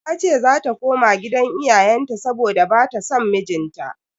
Tace zata koma gidan iyayenta saboda bata son mijinta.